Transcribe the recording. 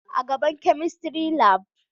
A gaban chemistry labu